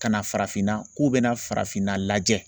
Ka na farafinna k'u bɛna farafinna lajɛ